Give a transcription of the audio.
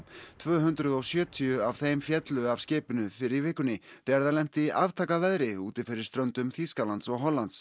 tvö hundruð og sjötíu af þeim féllu af skipinu fyrr í vikunni þegar það lenti í aftakaveðri úti fyrir ströndum Þýskalands og Hollands